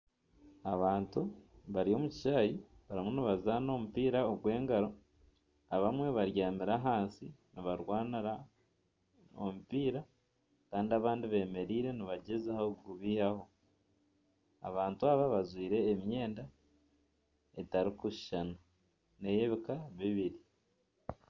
Abantu bari omu kishaayi barimu nibazaana omupiira ogw'engaro abamwe babyami ahansi nibarwanira omupiira kandi abandi bemereire nibagyezaho kugubihaho abantu aba bajwaire emyenda etarikushushana ney'ebiika bibiri.